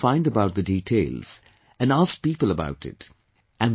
She tried to find out the details, and asked people about it